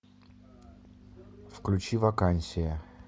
включи вакансия